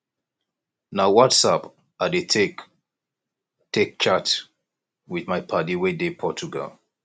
na whatsapp i dey take dey take chat with my paddy wey dey portugal